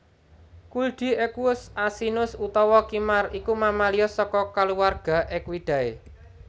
Kuldi Equus asinus utawa kimar iku mamalia saka kulawarga Equidae